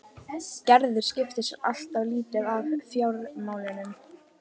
Gerður skipti sér alltaf lítið af fjármálunum.